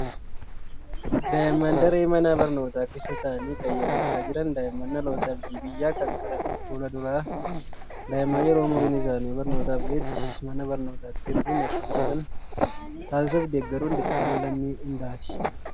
Daa'imman daree mana barnootaa keessa taa'anii qayyabachaa jiran. Daa'imman dhaloota abdii biyyaa kan gara fuula duraati. Daa'imman yeroo umuriin isaanii barnootaaf ga'etti mana barnootaatti erguun akka baratan taasisuu fi deeggaruun dirqama lammii hundaati.